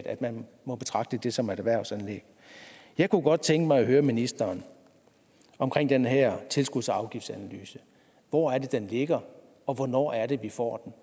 at man må betragte det som et erhvervsanlæg jeg kunne godt tænke mig at høre ministeren om den her tilskudsafgiftsanalyse hvor er det den ligger og hvornår er det vi får